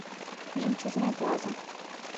жемчужная плаза